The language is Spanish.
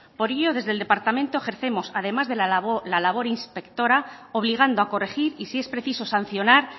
por ello desde el departamento ejercemos además de la labor inspectora obligando a corregir y si es preciso sancionar